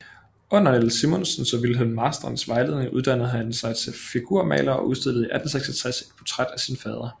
Under Niels Simonsens og Wilhelm Marstrands vejledning uddannede han sig til figurmaler og udstillede 1866 et portræt af sin fader